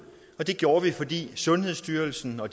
og det gjorde vi fordi sundhedsstyrelsen og